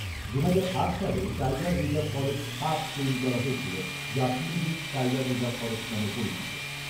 দুহাজার আট সালে টাইগার রিজার্ভ ফরেষ্ট সাত তৈরি করা হয়েছিল যা পিলভিট টাইগার রিজার্ভ ফরেষ্ট নামে পরিচিত